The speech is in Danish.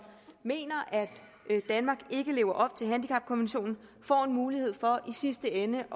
mener at danmark ikke lever op til handicapkonventionen får en mulighed for i sidste ende